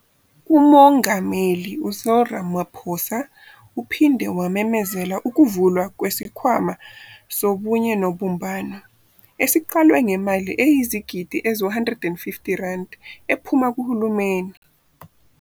UMongameli u-Cyril Ramaphosa uphinde wamemezela ukuvulwa kwesiKhwama Sobunye Nobumbano, esiqalwe ngemali eyizigidi ezi-R150 ephuma kuhulumeni.